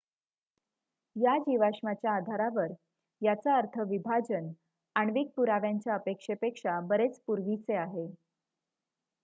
"""या जीवाश्माच्या आधारावर याचा अर्थ विभाजन आण्विक पुराव्यांच्या अपेक्षेपेक्षा बरेच पूर्वीचे आहे.